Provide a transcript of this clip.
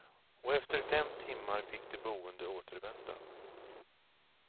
Och efter fem timmar fick de boende återvända.